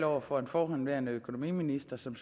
over for en forhenværende økonomiminister som